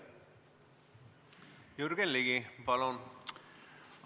Jürgen Ligi, palun!